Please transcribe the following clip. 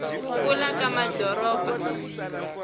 ku kula ka madoropo